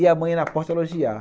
E a mãe, na porta, elogiava.